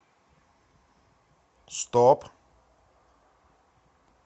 стоп